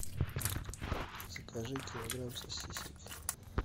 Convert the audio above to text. закажи килограмм сосисок